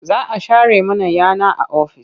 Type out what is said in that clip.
Za a share mana yana a ofis.